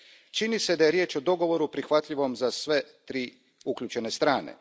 Čini se da je riječ o dogovoru prihvatljivom za sve tri uključene strane.